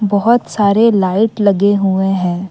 बहुत सारे लाइट लगे हुए हैं।